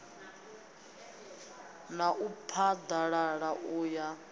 na u phaḓalala u ya